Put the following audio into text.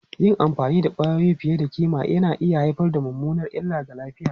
Yin amfani da kwayoyi fiye da kima na iya haifar da mummunar illa ga lafiya.